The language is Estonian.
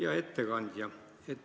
Hea ettekandja!